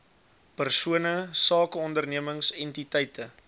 persone sakeondernemings entiteite